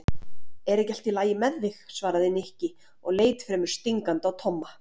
Er ekki allt lagi með þig? svaraði Nikki og leit fremur stingandi á Tomma.